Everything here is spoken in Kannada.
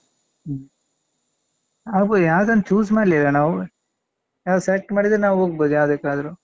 ಹ್ಮ್ ಆಗ್ಬೋದು ಯಾವ್ದಂತ್ choose ಮಾಡ್ಲಿಲ್ಲ ನಾವು ಯಾವ್ದು select ಮಾಡಿದ್ರೆ ನಾವ್ ಹೋಗ್ಬೋದು ಯಾವ್ದಕ್ಕಾದ್ರೂ.